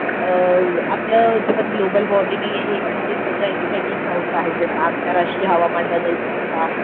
अ आपलं जे पण हे ग्लोबल वॉर्मिंग आहे आणि हे सगळं ह्याच्यासाठी एक संस्था आहे जस आंतरराष्ट्रीय हवामानबदल संस्था